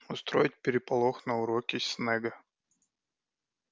устроить переполох на уроке снегга